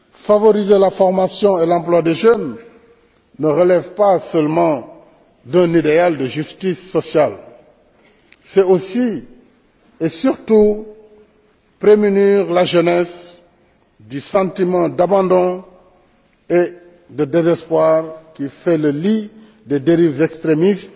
Favoriser la formation et l'emploi des jeunes ne relève pas seulement d'un idéal de justice sociale, c'est aussi et surtout prémunir la jeunesse du sentiment d'abandon et de désespoir qui fait le lit des dérives extrémistes